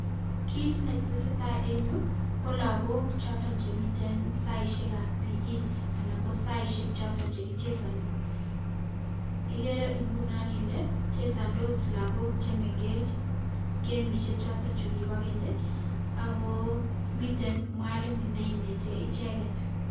Kiit netesetaa en yuu ko lokok choton chemiten saishekab PE anan ko saishek choton chekichesoni, ikeree ng'unon ilee chesondos lokok chemeng'ech kemishek choton chukibo keny, ak ko mwalimu neinete icheket.